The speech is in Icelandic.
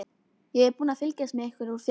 Ég er búin að fylgjast með ykkur úr fjarska.